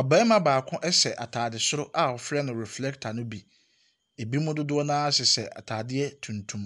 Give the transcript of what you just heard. ɔbarima baako ɛhyɛ ataare soro a wɔfrɛ no reflector no bi. Binom dodoɔ no ara hyehyɛ ataadeɛ tuntum.